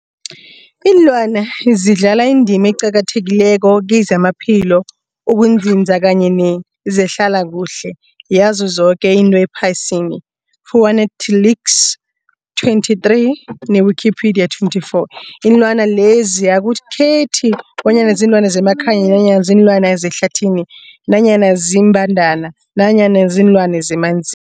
Iinlwana zidlala indima eqakathekileko kezamaphilo, ukunzinza kanye nezehlala kuhle yazo zoke izinto ephasini, Fuanalytics 2023, ne-Wikipedia 2024. Iinlwana lezi akukhethi bonyana ziinlwana zemakhaya nanyana kuziinlwana zehlathini nanyana iimbandana nanyana iinlwana zemanzini.